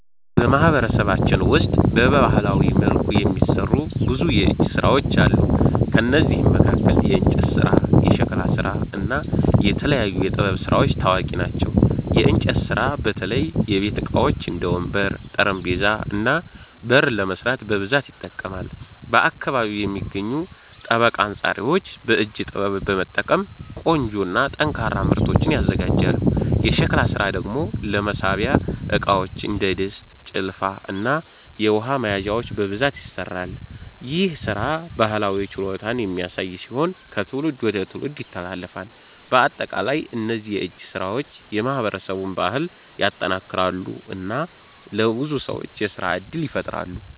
በማህበረሰባችን ውስጥ በባህላዊ መልኩ የሚሠሩ ብዙ የእጅ ሥራዎች አሉ። ከእነዚህ መካከል የእንጨት ስራ፣ የሸክላ ስራ እና የተለያዩ የጥበብ ስራዎች ታዋቂ ናቸው። የእንጨት ስራ በተለይ የቤት ዕቃዎች እንደ ወንበር፣ ጠረጴዛ እና በር ለመስራት በብዛት ይጠቀማል። በአካባቢው የሚገኙ ጠበቃ አንጻሪዎች በእጅ ጥበብ በመጠቀም ቆንጆ እና ጠንካራ ምርቶችን ያዘጋጃሉ። የሸክላ ስራ ደግሞ ለማብሰያ ዕቃዎች እንደ ድስት፣ ጭልፋ እና የውሃ መያዣዎች በብዛት ይሠራል። ይህ ሥራ ባህላዊ ችሎታን የሚያሳይ ሲሆን ከትውልድ ወደ ትውልድ ይተላለፋል። በአጠቃላይ እነዚህ የእጅ ሥራዎች የማህበረሰቡን ባህል ያጠናክራሉ እና ለብዙ ሰዎች የሥራ እድል ይፈጥራሉ።